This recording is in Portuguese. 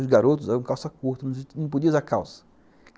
Os garotos usavam calça curta, não podia usar calça.